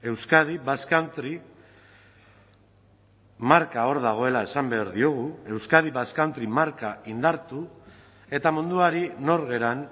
euskadi basque country marka hor dagoela esan behar diogu euskadi basque country marka indartu eta munduari nor garen